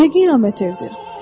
Nə qiyamət evdir.